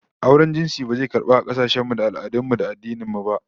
Auren jinsi ba zai karbu a kasashen mu da al'adun mu da addinan mu ba